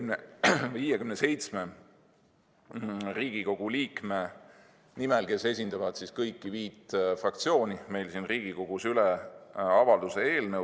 Annan 57 Riigikogu liikme nimel, kes esindavad kõiki viit fraktsiooni siin Riigikogus, üle avalduse eelnõu.